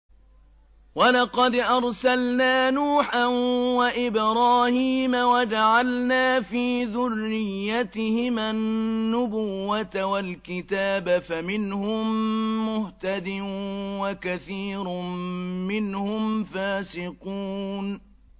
وَلَقَدْ أَرْسَلْنَا نُوحًا وَإِبْرَاهِيمَ وَجَعَلْنَا فِي ذُرِّيَّتِهِمَا النُّبُوَّةَ وَالْكِتَابَ ۖ فَمِنْهُم مُّهْتَدٍ ۖ وَكَثِيرٌ مِّنْهُمْ فَاسِقُونَ